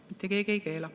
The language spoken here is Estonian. Mitte keegi ei keela.